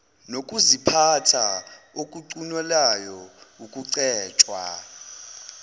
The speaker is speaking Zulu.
nokuziphatha okucunulayo okucetshwa